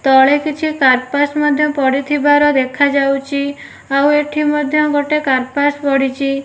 ତଳେ କିଛି କାର୍ପାସ୍ ମଧ୍ୟ ପଡ଼ିଥିବାର ଦେଖାଯାଉଚି। ଆଉ ଏଠି ମଧ୍ୟ ଗୋଟେ କାର୍ପାସ୍ ପଡ଼ିଛି।